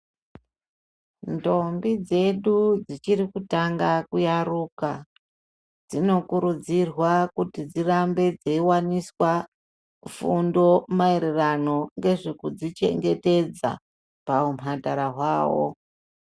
Ndombi dzedu dzichiri kutanga kuyaruka dzinokurudzirwa kuti dzirambe dzeiwaniswa fundo maererano nezvekuzvichengetedza pahumhandara hwavo.